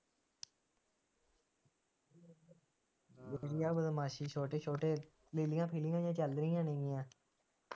ਆ ਬਦਮਾਸੀ ਛੋਟੇ ਛੋਟੇ, ਨੀਲੀਆਂ ਪੀਲੀਆਂ ਜਿਹੀਆਂ ਚੱਲ ਰਹੀਆਂ ਜਿਹੜੀਆਂ